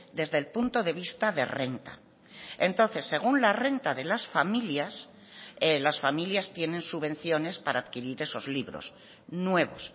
desde el punto de vista de renta entonces según la renta de las familias las familias tienen subvenciones para adquirir esos libros nuevos